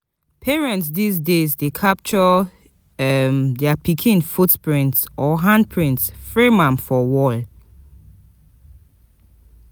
Parents these days dey capture their pikin footprints or handprints frame am for wall